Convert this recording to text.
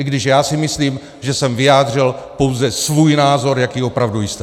I když já si myslím, že jsem vyjádřil pouze svůj názor, jaký opravdu jste.